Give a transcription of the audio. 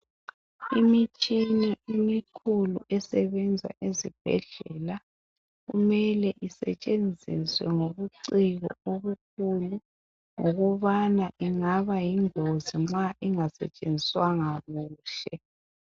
Imitshina emikhulu esebenza ezibhedlela kumele isetshenziswe ngobuciko obukhulu ngokubana ingaba yingozi nxa ingasetshenziswanga kuhle.